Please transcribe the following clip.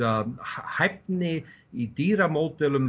að hæfni í